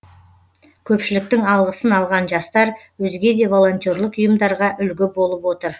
көпшіліктің алғысын алған жастар өзге де волонтерлік ұйымдарға үлгі болып отыр